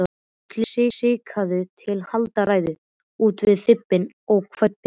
Skikkaður til að halda ræður út um hvippinn og hvappinn.